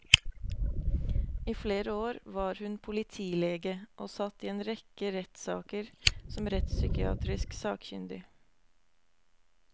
I flere år var hun politilege og satt i en rekke rettssaker som rettspsykiatrisk sakkyndig.